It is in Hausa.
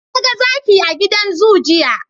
Naga Zaki a gidan zoo, jiya